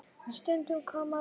Stundin kom og lífið hvarf.